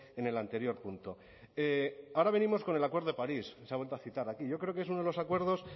en el anterior punto ahora venimos con el acuerdo de parís se ha vuelto a citar aquí yo creo que es uno de los acuerdos